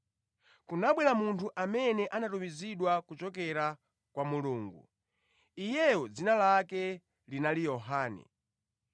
Kunabwera munthu amene anatumizidwa kuchokera kwa Mulungu; Iyeyo dzina lake linali Yohane.